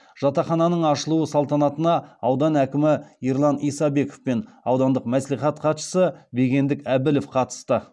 жатақхананың ашылуы салтанатына аудан әкімі ерлан исабеков пен аудандық мәслихат хатшысы бегендік әбілов қатысты